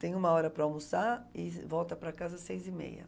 Tem uma hora para almoçar e volta para casa às seis e meia.